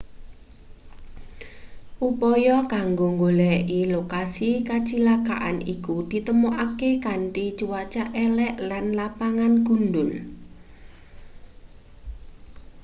upaya kanggo nggoleki lokasi kacilakan iku ditemokake kanthi cuaca elek lan lapangan gundhul